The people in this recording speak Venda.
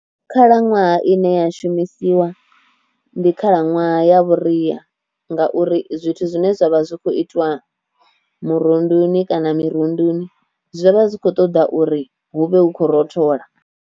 Khalaṅwaha ine ya shumisiwa ndi khalaṅwaha ya vhuria ngauri zwithu zwine zwavha zwi kho itwa murunduni kana mirunduni zwi vha zwi kho ṱoḓa uri hu vhe hu khou rothola.